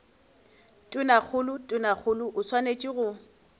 tonakgolo tonakgolo o swanetše go